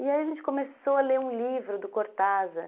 E aí a gente começou a ler um livro do Cortázar.